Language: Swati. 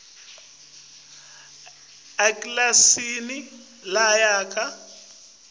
ekilasini lonyaka uphendvule